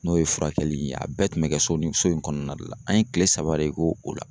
N'o ye furakɛli in ne a bɛɛ kun be kɛ so ni so in kɔnɔna de la an ye kile saba de k'o o la